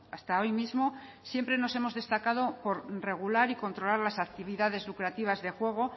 hasta hoy mismo siempre nos hemos destacado por regular y controlar las actividades lucrativas de juego